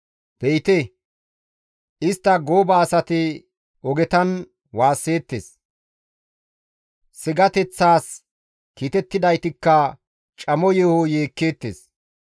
Be7ite, istta gooba asati ogetan waasseettes; sigateththas kiitettidaytikka camo yeeho yeekkeettes.